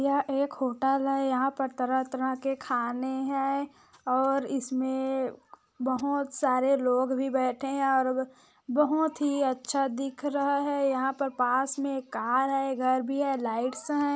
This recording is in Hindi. यह एक होटल है यहाँ तरह-तरह के खाने है और इसमें बहुत सारे लोग भी बैठे है और बोहोत ही अच्छा दिख रहा है यहाँ पर पास मे एक कार है घर भी है लाइट्स है।